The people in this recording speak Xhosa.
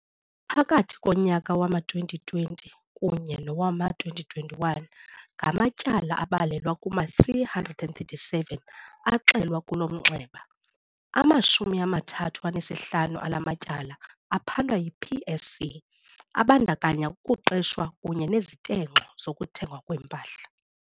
Phakathi konyaka wama-2020 kunye nowama-2021, ngamatyala abalelwa kuma-337 axelwa kulo mnxeba. Amashumi amathathu anesihlanu ala matyala aphandwa yi-PSC abandakanya ukuqeshwa kunye nezitenxo zokuthengwa kweempahla.